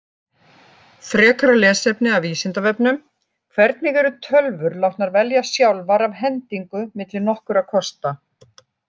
Frekara lesefni af Vísindavefnum: Hvernig eru tölvur látnar velja sjálfar af hendingu milli nokkurra kosta?